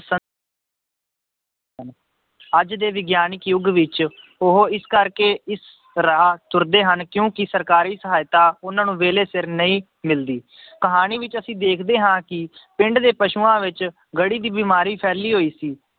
ਅੱਜ ਦੇ ਵਿਗਿਆਨਕ ਯੁੱਗ ਵਿੱਚ ਉਹ ਇਸ ਕਰਕੇ ਇਸ ਰਾਹ ਤੁਰਦੇ ਹਨ ਕਿਉਂਕਿ ਸਰਕਾਰੀ ਸਹਾਇਤਾ ਉਹਨਾਂ ਨੂੰ ਵੇਲੇ ਸਿਰ ਨਹੀਂ ਮਿਲਦੀ ਕਹਾਣੀ ਵਿੱਚ ਅਸੀਂ ਦੇਖਦੇ ਹਾਂ ਕਿ ਪਿੰਡ ਦੇ ਪਸੂਆਂ ਵਿੱਚ ਗੜੀ ਦੀ ਬਿਮਾਰੀ ਫੈਲੀ ਹੋਈ ਸੀ।